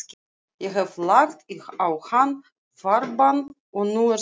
Ég hef lagt á hann farbann, og nú er spurningin.